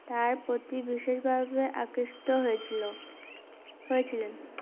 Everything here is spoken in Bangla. তার প্রতি বিশেষ ভাবে আকৃষ্ট হয়েছিলো হয়েছিলেন